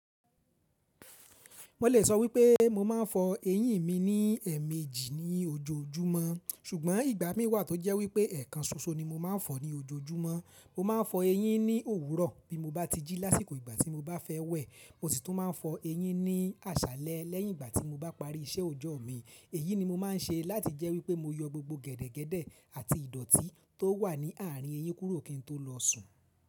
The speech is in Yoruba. Mo lè sọ wípé mo máa ń fọ eyín mi ní ẹ̀ẹ̀mejì ní ojoojúmọ́, ṣùgbọ́n ìgbà mí wà tó jẹ́ wípé ẹ̀ẹ̀kan ṣoṣo ni mo máa ń fọ ní ojúmọ́ Mo máa ń fọ eyín ní òwúrọ̀ bí mo bá ti jí lásìkò ìgbà tí mo bá fẹ́ wẹ̀. Mo sì tún máa ń fọ eyín ní àṣálẹ́ lẹ́yìn ìgbà tí mo bá parí iṣẹ́ òjọ́ mi. Èyí ni mo máa ń ṣe láti jẹ́ wípé mo yọ gbogbo gẹ̀dẹ̀gẹ̀dẹ̀ àti ìdọ̀tí tó wà ní àárín eyín kúrò kí n tó lọ sùn.